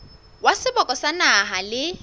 wa seboka sa naha le